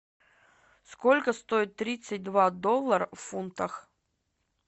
сколько стоит тридцать два доллара в фунтах